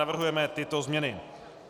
Navrhujeme tyto změny: